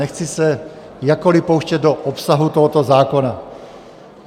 Nechci se jakkoliv pouštět do obsahu tohoto zákona.